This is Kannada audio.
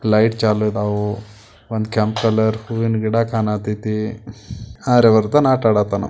ಲೈಟ್ ಚಾಲು ಅದಾವು ಒಂದ ಕೆಂಪ್ ಕಲರ್ ಹೂವಿನ ಗಿಡ ಕಾಣತೇತಿ ಆರ್ಯವರ್ಧನ್ ಆಟಾ ಅಡ್ಡತನೂ.